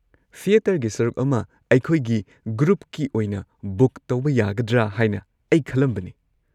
ꯊꯤꯑꯦꯇꯔꯒꯤ ꯁꯔꯨꯛ ꯑꯃ ꯑꯩꯈꯣꯏꯒꯤ ꯒ꯭ꯔꯨꯞꯀꯤ ꯑꯣꯏꯅ ꯕꯨꯛ ꯇꯧꯕ ꯌꯥꯒꯗ꯭ꯔꯥ ꯍꯥꯏꯅ ꯑꯩ ꯈꯜꯂꯝꯕꯅꯦ꯫